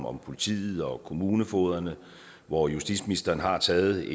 om politiet og kommunefogederne hvor justitsministeren har taget